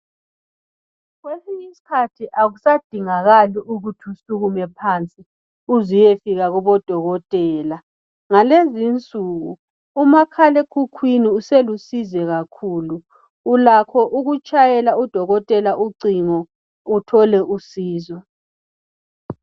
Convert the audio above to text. Kwesinye isikhathi akusadingakali ukuthi usukume phansi uze uyefika kubodokotela ngalezi insuku umakhalekukhwini uselusizo kakhulu ulakho ukutshayela udokotela icingo uthole usizo